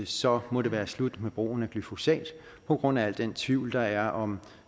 så må det være slut med brugen af glyfosat på grund af al den tvivl der er om